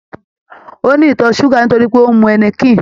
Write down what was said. Ó ní ìtọ̀ súgà nítorí pé ó ń mu Háíníkìn